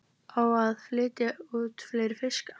Á að flytja út fleiri fiska